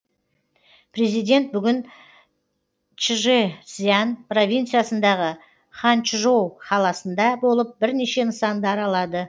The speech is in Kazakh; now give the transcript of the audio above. президент бүгін чжэцзян провинциясындағы ханчжоу қаласында болып бірнеше нысанды аралады